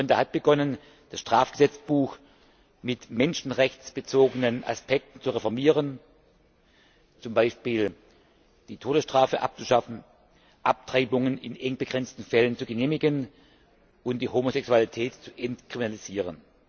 Ruanda hat begonnen, das Strafgesetzbuch mit menschenrechtsbezogenen Aspekten zu reformieren, z. B. die Todesstrafe abzuschaffen, Abtreibungen in eng begrenzten Fällen zu genehmigen und die Homosexualität zu entkriminalisieren.